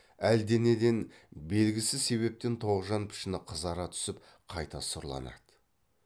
әлденеден белгісіз себептен тоғжан пішіні қызара түсіп қайта сұрланады